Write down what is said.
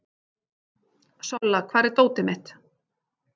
Solla, hvar er dótið mitt?